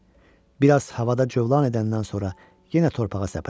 Bir az havada cövlan edəndən sonra yenə torpağa səpələndilər.